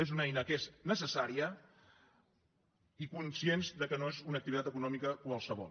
és una eina que és necessària i conscients que no és una activitat econòmica qualsevol